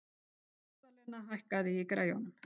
Magðalena, hækkaðu í græjunum.